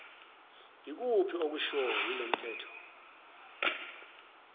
ikuphi okushiwo yilomthetho